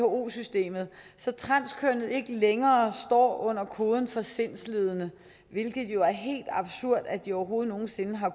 who systemet så transkønnede ikke længere står under koden for sindslidende hvilket jo er helt absurd at de overhovedet nogen sinde har